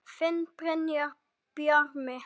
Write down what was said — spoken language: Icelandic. Þinn Brynjar Bjarmi.